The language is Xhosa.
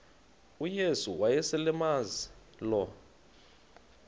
uyesu wayeselemazi lo